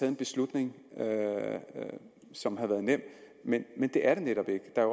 en beslutning som havde været nem men det er den netop ikke der